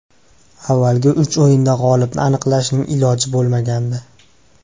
Avvalgi uch o‘yinda g‘olibni aniqlashning iloji bo‘lmagandi.